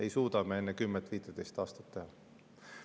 Isegi kui me väga tahaksime!